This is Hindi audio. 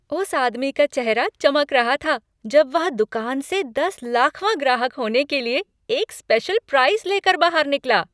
उस आदमी का चेहरा चमक रहा था जब वह दुकान से दस लाखवाँ ग्राहक होने के लिए एक स्पेशल प्राइज़ लेकर बाहर निकला।